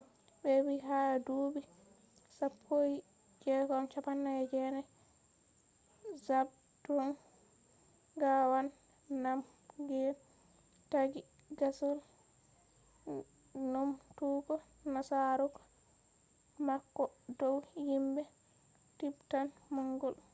be vii ha dubi 1649,zhabdrung ngawang namgyel ,taaggi gaasol numtugo nasaraku mako dow himbe tibetan-mongol